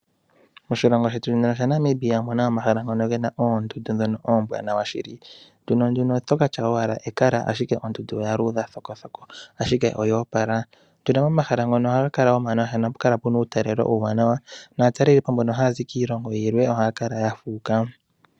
Moshilongo shetu shaNamibia omuna omahala ngono gena oondundu ,oondundu dhika oombwanawa shili ethimbo limwe oto katya owala ekala ashike ondundu oya luudha thokokothoko yo otayi monika nawa, otuna wo omahala ngoka taga monika nawa naatalelipo mboka haa zi kiilongo yimwe ohaa kala fuuka.